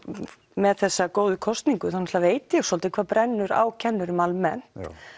með þessa góðu kosningu þá veit ég svolítið hvað brennur á kennurum almennt